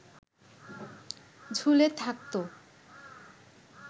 ঝুলে থাকত